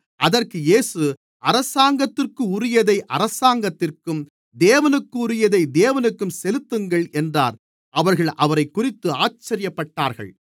அதற்கு இயேசு அரசாங்கத்திற்குரியதை அரசாங்கத்திற்கும் தேவனுக்குரியதை தேவனுக்கும் செலுத்துங்கள் என்றார் அவர்கள் அவரைக்குறித்து ஆச்சரியப்பட்டார்கள்